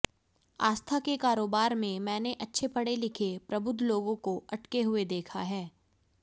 आस्था के कारोबार में मैंने अच्छे पढ़े लिखे प्रबुद्ध लोगों को अटके हुए देखा है